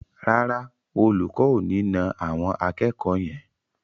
Rárá, Olùkọ́ ò ní na àwọn akẹ́kọ̀ọ́ yẹn.